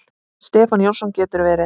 Stefán Jónsson getur verið